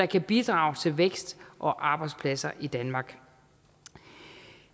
kan bidrage til vækst og arbejdspladser i danmark